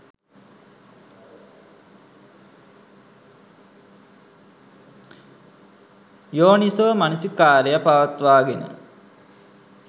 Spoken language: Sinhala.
යෝනිසෝමනසිකාරය පවත්වාගෙන